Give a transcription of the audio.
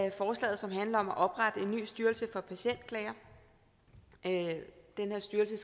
af forslaget som handler om at oprette en ny styrelse for patientklager den her styrelse